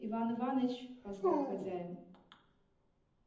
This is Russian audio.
иван иваныч позвал хозяин